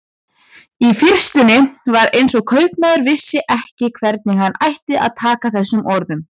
Í fyrstunni var eins og kaupmaður vissi ekki hvernig hann ætti að taka þessum orðum.